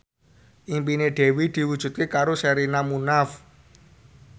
impine Dewi diwujudke karo Sherina Munaf